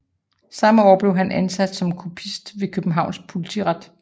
Samme år blev han ansat som kopist ved Københavns Politiret